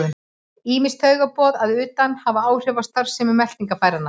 Ýmis taugaboð að utan hafa áhrif á starfsemi meltingarfæranna.